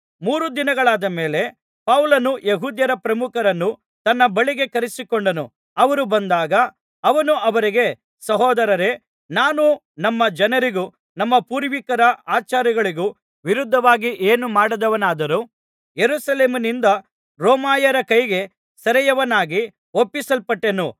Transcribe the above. ಮೂರು ದಿನಗಳಾದ ಮೇಲೆ ಪೌಲನು ಯೆಹೂದ್ಯರ ಪ್ರಮುಖರನ್ನು ತನ್ನ ಬಳಿಗೆ ಕರೆಯಿಸಿಕೊಂಡನು ಅವರು ಬಂದಾಗ ಅವನು ಅವರಿಗೆ ಸಹೋದರರೇ ನಾನು ನಮ್ಮ ಜನರಿಗೂ ನಮ್ಮ ಪೂರ್ವಿಕರ ಆಚಾರಗಳಿಗೂ ವಿರುದ್ಧವಾಗಿ ಏನೂ ಮಾಡದವನಾದರೂ ಯೆರೂಸಲೇಮಿನಿಂದ ರೋಮಾಯರ ಕೈಗೆ ಸೆರೆಯವನಾಗಿ ಒಪ್ಪಿಸಲ್ಪಟ್ಟೆನು